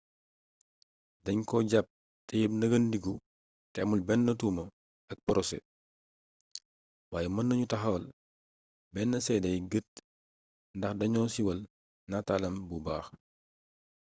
dañ ko jàpp teyeb neggandiku te amul benn tuuma ak porosé waaye mën nañu taxal benn séedey gët ndax dañoo siiwal nataalam bu baax